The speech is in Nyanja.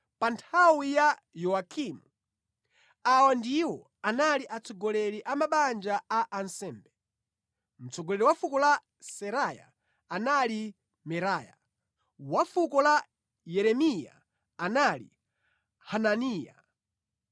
Pa nthawi ya Yowakimu, awa ndiwo anali atsogoleri a mabanja a ansembe: Mtsogoleri wa fuko la Seraya anali Meraya; wa fuko la Yeremiya anali Hananiya;